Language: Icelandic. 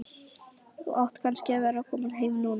Þú átt kannski að vera kominn heim núna.